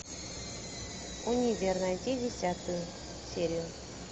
универ найти десятую серию